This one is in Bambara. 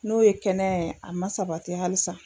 N'o ye kɛnɛya ye a ma sabati halisa